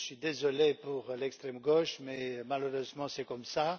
Je suis désolé pour l'extrême gauche mais, malheureusement, c'est comme cela.